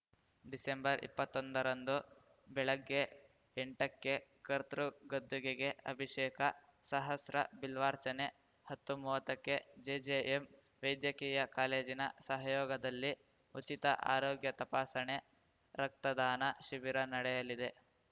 ಡಿಸೆಂಬರ್ಇಪ್ಪತ್ತೊಂದರಂದು ಬೆಳಗ್ಗೆ ಎಂಟಕ್ಕೆ ಕರ್ತೃ ಗದ್ದುಗೆಗೆ ಅಭಿಷೇಕ ಸಹಸ್ರ ಬಿಲ್ವಾರ್ಚನೆ ಹತ್ತುಮುವ್ವತ್ತಕ್ಕೆ ಜೆಜೆಎಂ ವೈದ್ಯಕೀಯ ಕಾಲೇಜಿನ ಸಹಯೋಗದಲ್ಲಿ ಉಚಿತ ಆರೋಗ್ಯ ತಪಾಸಣೆ ರಕ್ತದಾನ ಶಿಬಿರ ನಡೆಯಲಿದೆ